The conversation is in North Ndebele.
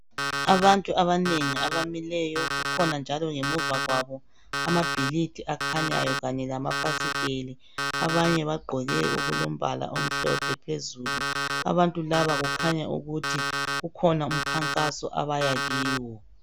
Abantu abanengi abamileyo. Kukhona njalo ngemuva kabo amabhilidi akhanyayo kanye lamafasiteli. Abanye bagqoke okulombala omhlophe phezulu. Abantu laba kukhanya ukuthi kukhona umkhankaso abaya kiwo.